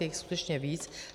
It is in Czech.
Je jich skutečně víc.